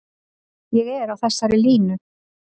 Ég er á þessari línu.